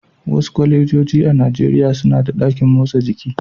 Wasu kwalejoji a Najeriya suna da ɗakin motsa jiki.